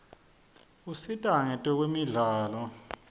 usita kwetemidlalo